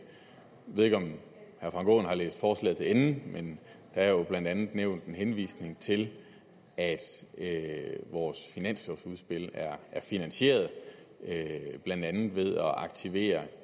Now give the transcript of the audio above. ved ikke om herre frank aaen har læst forslaget til ende men der er jo blandt andet en henvisning til at at vores finanslovudspil er finansieret blandt andet ved at aktivere